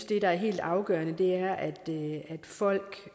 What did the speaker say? det der er helt afgørende er at folk